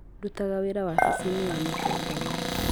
Ndutaga wĩra wabici-inĩ ya mũtongoria